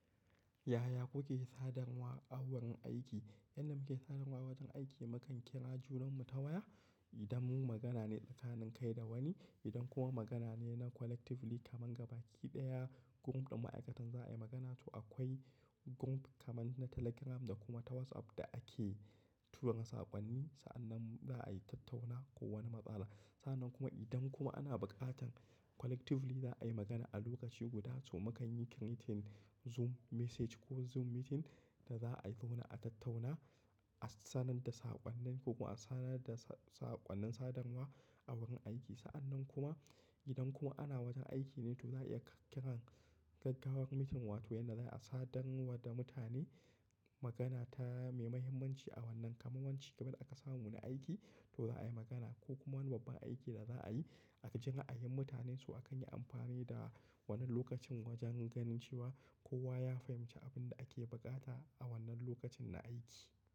Yaya kuke sadarwa a wurin aiki? Yanda muke sadarwa wajen aiki mu kan kira junanmu ta waya. Idan mun magana ne tsakanin kai da wani, idan kuma magana ne na collectively kaman gaba ki ɗaya, group ɗin ma'aikatan za a yi magana. To akwai group kaman na Telegram da kuma ta WhatsApp da ake tura saƙonni. Sa'annan za a tattauna ko wani matsala. Sa'annan kuma idan kuma ana buƙatan collectively za a yi magana a lokaci guda, to mu kan yi meeting Zoom message ko Zoom meeting da za a zauna a tattauna. A sanar da saƙonnin ko kuma a sanar da saƙonnin sadarwa a wurin aiki. Sa'annan kuma idan kuma ana wata aiki ne, to za a iya ƙirƙirar gaggawar meeting, wato yana da a sadarwa da mutane magana ta mai mahimmanci a wannan, kamar wanci gaban aka samu wani aiki to za a yi magana ko kuma wani babban aiki da za a yi. Aji ra'ayin mutanen su, a kan yi amfani da wannan lokacin wajen ganin cewa kowa ya fahimci abin da ake buƙata a wannan lokacin na aiki.